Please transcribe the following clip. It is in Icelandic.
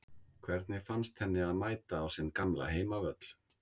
Hvernig fannst henni að mæta á sinn gamla heimavöll?